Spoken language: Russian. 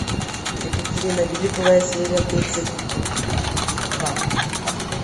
екатерина великая серия тридцать два